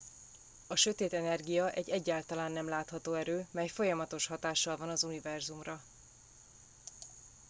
a sötét energia egy egyáltalán nem látható erő mely folyamatos hatással van az univerzumra